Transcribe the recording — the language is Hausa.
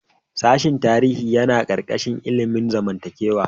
Sashen tarihi yana ƙarƙashin ilimin zamantakewa.